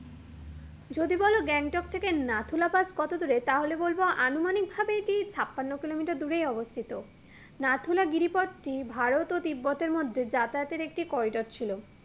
যদি বলো গ্যাংটক থেকে নাথুলা পাস কতদূরে তাহলে বলবো আনুমানিক ভাবেই এটি ছাপান্ন কিলোমিটার দূরেই অবস্থিত নাথুলা গিরিপথটি ভারত ও তিব্বতের মধ্যে যাতায়াতের একটি corridor ছিলো